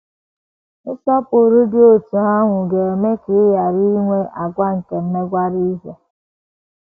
Nsọpụrụ dị otú ahụ ga - eme ka ị ghara inwe àgwà nke imegwara ihe.